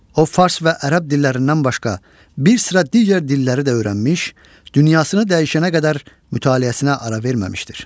O, fars və ərəb dillərindən başqa, bir sıra digər dilləri də öyrənmiş, dünyasını dəyişənə qədər mütaliəsinə ara verməmişdir.